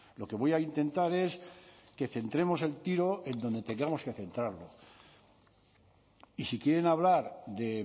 lo que voy a intentar es que centremos el tiro en donde tengamos que centrarlo y si quieren hablar de